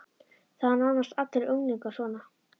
Það eru nánast allir unglingar svona.